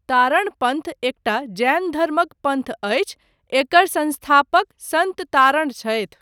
तारण पन्थ एकटा जैैैन धर्मक पन्थ अछि, एकर संस्थापक सन्त तारण छथि।